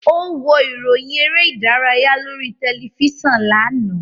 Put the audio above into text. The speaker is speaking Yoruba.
Ó wo ìròyìn eré-ìdárayá lórí tẹlifíṣàn lánàá.